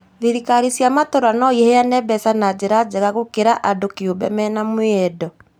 Thirikari cia matura no iheane mbeca na njira njega gũkĩra andũ kĩũmbe mena mwĩyendo